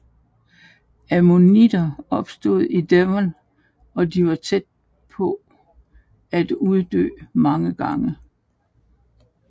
Ammonitter opstod i Devon og de var tæt på at uddø mange gange